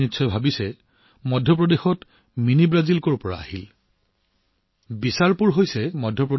আপুনি নিশ্চয় ভাবিছে যে মধ্যপ্ৰদেশত মিনি ব্ৰাজিল যৰ পৰা আহিছিল এইটোৱেই হৈছে টুইষ্ট